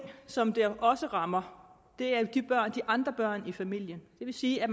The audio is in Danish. som det også rammer er de andre børn i familien det vil sige at